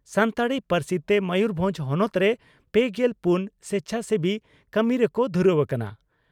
ᱥᱟᱱᱛᱟᱲᱤ ᱯᱟᱹᱨᱥᱤ ᱛᱮ ᱢᱚᱭᱩᱨᱵᱷᱚᱸᱡᱽ ᱦᱚᱱᱚᱛ ᱨᱮ ᱯᱮᱜᱮᱞ ᱯᱩᱱ ᱥᱮᱪᱷᱟᱥᱮᱵᱤ ᱠᱟᱹᱢᱤ ᱨᱮᱠᱚ ᱫᱷᱩᱨᱟᱹᱣ ᱟᱠᱟᱱᱟ ᱾